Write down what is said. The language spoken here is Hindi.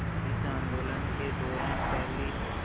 इस आंदोलन के दौरान पहली